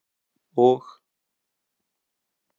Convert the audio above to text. og